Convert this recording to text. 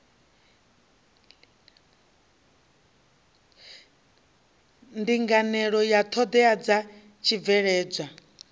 linganelaho ya ṱhoḓea dza tshibveledzwa